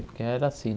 Porque era assim.